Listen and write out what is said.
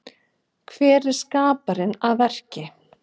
Hér er skaparinn að verki.